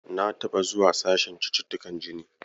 Na taɓa zuwa sashen cututtukan jini.